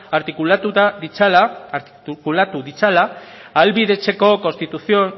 artikulatu ditzala ahalbidetzeko konstituzio